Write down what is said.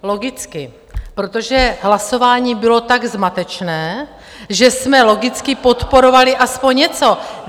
Logicky, protože hlasování bylo tak zmatečné, že jsme logicky podporovali aspoň něco!